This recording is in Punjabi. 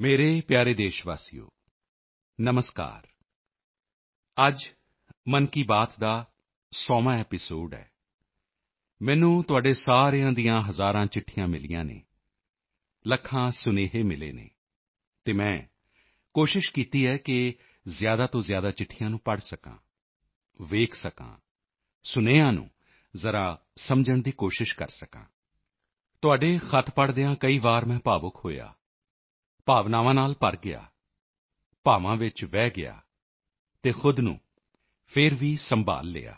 ਮੇਰੇ ਪਿਆਰੇ ਦੇਸ਼ਵਾਸੀਓ ਨਮਸਕਾਰ ਅੱਜ ਮਨ ਕੀ ਬਾਤ ਦਾ 100ਵਾਂ ਐਪੀਸੋਡ ਹੈ ਮੈਨੂੰ ਤੁਹਾਡੇ ਸਾਰਿਆਂ ਦੀਆਂ ਹਜ਼ਾਰਾਂ ਚਿੱਠੀਆਂ ਮਿਲੀਆਂ ਹਨ ਲੱਖਾਂ ਸੁਨੇਹੇ ਮਿਲੇ ਹਨ ਅਤੇ ਮੈਂ ਕੋਸ਼ਿਸ਼ ਕੀਤੀ ਹੈ ਕਿ ਜ਼ਿਆਦਾ ਤੋਂ ਜ਼ਿਆਦਾ ਚਿੱਠੀਆਂ ਨੂੰ ਪੜ੍ਹ ਸਕਾਂ ਵੇਖ ਸਕਾਂ ਸੁਨੇਹਿਆ ਨੂੰ ਜ਼ਰਾ ਸਮਝਣ ਦੀ ਕੋਸ਼ਿਸ਼ ਕਰਾਂ ਤੁਹਾਡੇ ਖਤ ਪੜ੍ਹਦਿਆ ਹੋਏ ਕਈ ਵਾਰ ਮੈਂ ਭਾਵੁਕ ਹੋਇਆ ਭਾਵਨਾਵਾਂ ਨਾਲ ਭਰ ਗਿਆ ਭਾਵਾਂ ਵਿੱਚ ਵਹਿ ਗਿਆ ਅਤੇ ਖੁਦ ਨੂੰ ਫਿਰ ਸੰਭਾਲ਼ ਵੀ ਲਿਆ